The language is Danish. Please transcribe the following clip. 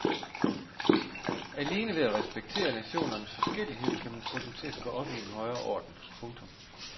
Alene ved at respektere nationernes forskellighed kan man få dem til at gå op i en højere orden. punktum